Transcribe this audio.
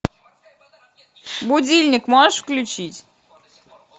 будильник можешь включить